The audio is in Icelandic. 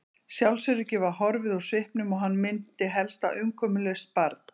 Sjálfsöryggið var horfið úr svipnum og hann minnti helst á umkomulaust barn.